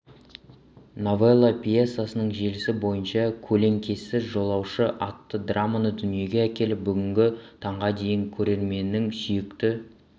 новелла пьесасының желісі бойынша көлеңкесіз жолаушы атты драманы дүниеге әкеліп бүгінгі таңға дейін көрерменнің сүйікті